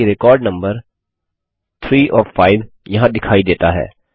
ध्यान दें कि रिकार्ड नम्बर 3 ओएफ 5 यहाँ दिखाई देता है